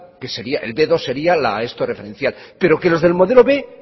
que el be dos sería la referencial pero que los del modelo b